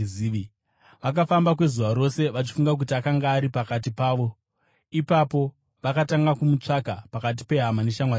Vakafamba kwezuva rose vachifunga kuti akanga ari pakati pavo. Ipapo vakatanga kumutsvaka pakati pehama neshamwari dzavo.